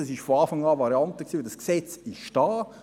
das war von Anfang eine Variante, und das Gesetz ist da;